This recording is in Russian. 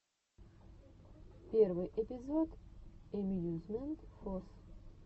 первый эпизод эмьюзмент фос